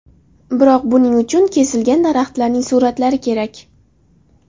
Biroq buning uchun kesilgan daraxtlarning suratlari kerak.